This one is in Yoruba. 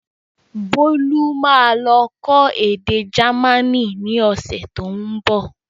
Bolu máa lọ kọ́ èdè jamaní ni ọ̀sẹ̀ tó ń bọ̀